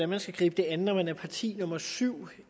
man skal gribe an når man er parti nummer syv